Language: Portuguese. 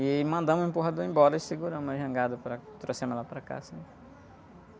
E mandamos o empurrador embora e seguramos a jangada, para, trouxemos ela para cá, assim.